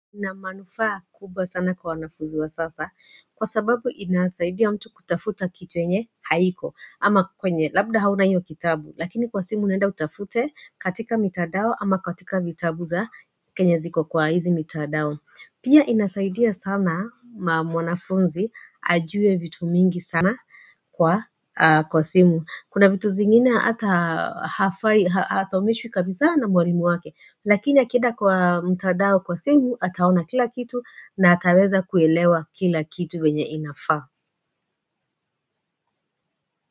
Ina manufaa kubwa sana kwa wanafuzi wa sasa kwa sababu inasaidia mtu kutafuta kitu yenye haiko ama kwenye labda hauna iyo kitabu lakini kwa simu unaenda utafute katika mitandao ama katika vitabu za kenye ziko kwa hizi mitadao Pia inasaidia sana mwanafunzi ajue vitu mingi sana kwa kwa simu Kuna vitu zingine hata hafai hasomeshwi kabisa na mwalimu wake Lakini akienda kwa mtadao kwa simu ataona kila kitu na ataweza kuelewa kila kitu venye inafaa.